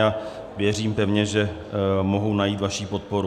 A věřím pevně, že mohou najít vaši podporu.